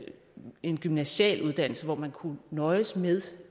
en gymnasial uddannelse og hvor man kunne nøjes med